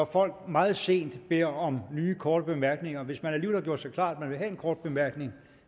folk meget sent beder om nye korte bemærkninger hvis man alligevel har gjort sig klart at man vil have en kort bemærkning